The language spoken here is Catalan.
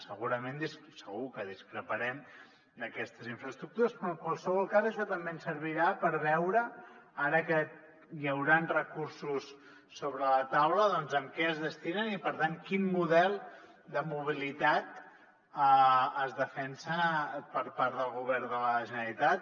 segurament segur que discreparem d’aquestes infraestructures però en qualsevol cas això també ens servirà per veure ara que hi hauran recursos sobre la taula en què es destinen i per tant quin model de mobilitat es defensa per part del govern de la generalitat